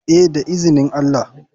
Eh da izinin allah.